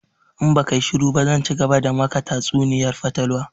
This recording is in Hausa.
In baka yi shuru ba zan cigaba da maka tatsuniyar fatalwa!